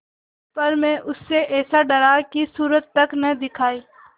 पर मैं उससे ऐसा डरा कि सूरत तक न दिखायी